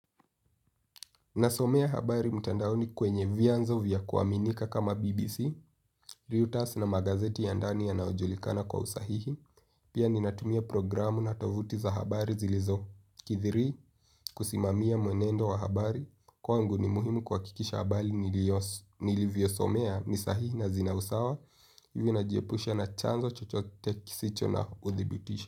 Nasomea habari mtandaoni kwenye vyanzo vya kuaminika kama BBC, Liutas na magazeti ya ndani yanayojulikana kwa usahihi, pia ninatumia programu na tovuti za habari zilizo. Kusimamia mwenendo wa habari, kwangu ni muhimu kuhakikisha habari nilivyosomea ni sahihi na zina usawa mimi najihepusha na chanzo chochote kisicho na udhibitisho.